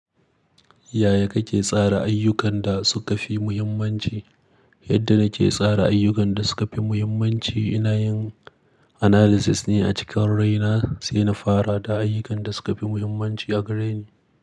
Yaya kake tsara ayyukan da suka fi muhimmanci? Yadda nake tsara ayyukan da suka fi muhimmanci, ina yin analysis ne a cikin raina sai na fara da ayyukan da suka fi muhimmanci a gareni.